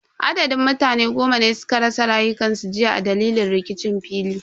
Adadin mutane goma ne suka rasa rayukansu jiya a dalilin rikicin fili.